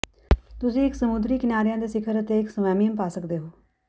ਤੁਸੀਂ ਇੱਕ ਸਮੁੰਦਰੀ ਕਿਨਾਰਿਆਂ ਦੇ ਸਿਖਰ ਅਤੇ ਇੱਕ ਸਵੈਮਿਅਮ ਪਾ ਸਕਦੇ ਹੋ